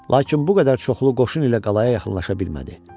Lakin bu qədər çoxlu qoşun ilə qalaya yaxınlaşa bilmədi.